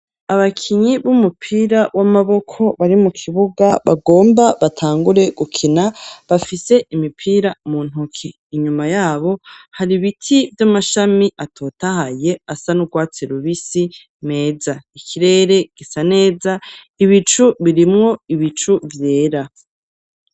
Abakinyi b'umupira w'amaboko bari mu kibuga bagomba batangure gukina bafise imipira mu ntoke, inyuma yabo hari ibiti vy'amashami atotahaye asa n'urwatse rubisi meza ikirere gisa neza ibicu birimwo ibicu vyera.